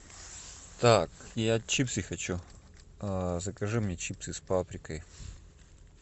так я чипсы хочу закажи мне чипсы с паприкой